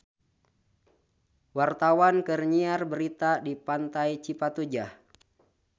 Wartawan keur nyiar berita di Pantai Cipatujah